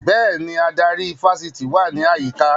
Bẹ́ẹ̀ni, adarí ifásitì wà ní àyíká